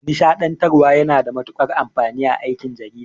Nishaɗantarwa yana da matuƙar amfani a aikin jarida.